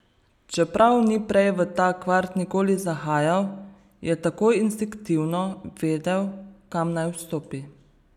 Čeprav ni prej v ta kvart nikoli zahajal, je takoj instinktivno vedel, kam naj vstopi.